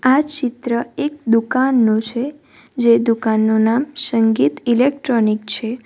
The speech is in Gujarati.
આ ચિત્ર એક દુકાનનો છે જે દુકાનનું નામ સંગીત ઇલેક્ટ્રોનિક છે.